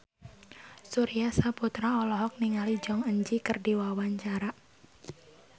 Surya Saputra olohok ningali Jong Eun Ji keur diwawancara